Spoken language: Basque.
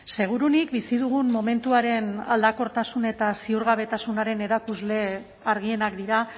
seguruenik bizi dugun momentuaren aldakortasun eta ziurgabetasunaren erakusle argienak dira